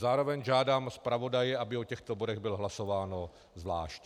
Zároveň žádám zpravodaje, aby o těchto bodech bylo hlasováno zvlášť.